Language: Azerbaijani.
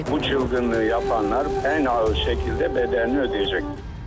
Bu çevrilişi yapanlar ən ağır şəkildə dədənini ödəyəcək.